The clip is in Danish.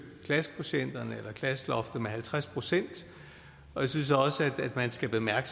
klassekvotienterne eller klasseloftet med halvtreds procent jeg synes også at man skal bemærke